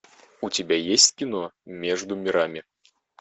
у тебя есть кино между мирами